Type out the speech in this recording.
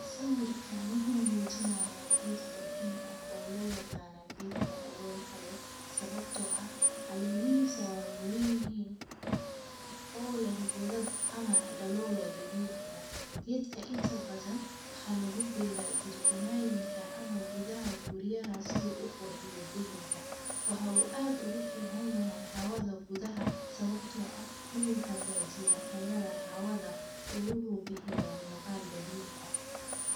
sawirkan wuxu mojinaya geed qurxiin oo looyaqano geedka daloolka le, sawabto ah calemihisa weywawenyihin ole goodad ama dalol dabici ah, gedka inta badhan waxa lagu bera jardinayinka ama gudaha guriyaha si uu qurxiyo degenka, waxa ad ogu ficanyahay xawada gudaha sababto ah wuxu hagajiyah tayada xawada oo wuxu bixiyah muqal dabici ah.